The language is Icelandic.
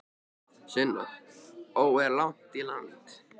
Sunna: Ó, er langt í land?